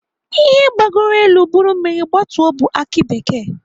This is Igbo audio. Ihe gbagoro elu buru mmiri gbatuo bụ aki bekee.